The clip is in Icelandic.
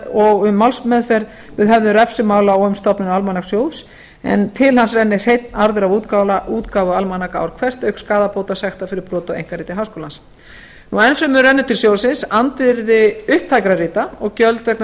og um málsmeðferð við höfðun refsimála og um stofnun almanakssjóðs en til hans rennur hreinn arður af útgáfu almanaka ár hvert auk skaðabóta og sekta fyrir brot á einkarétti háskólans enn fremur rennur til sjóðsins andvirði upptækra rita og gjöld vegna